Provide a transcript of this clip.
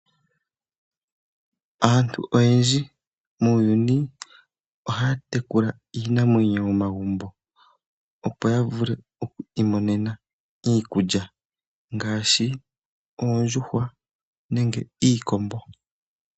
Aantu oyendji muuyuni ohaya tekula iinamwenyo momagumbo opo ya vule oku imonena iikulya ngaashi oondjuhwa nenge iikombo.